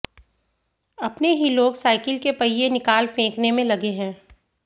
अपने ही लोग साइकिल के पहिये निकाल फेंकने में लगे हैं